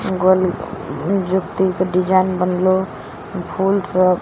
गोल जुती के डिजाइन बनलो फूल सभ --